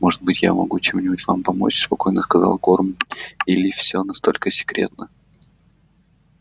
может быть я могу чем-нибудь вам помочь спокойно сказал горм или все настолько секретно